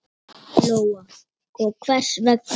Lóa: Og hvers vegna?